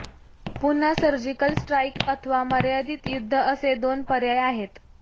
पुन्हा surgical strike अथवा मर्यादित युद्ध असे दोन पर्याय आहेत